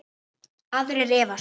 Aðrir efast.